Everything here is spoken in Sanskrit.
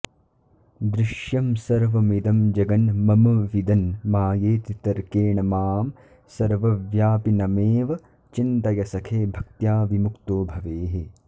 दृश्यं सर्वमिदं जगन्मम विदन् मायेति तर्केण मां सर्वव्यापिनमेव चिन्तय सखे भक्त्या विमुक्तो भवेः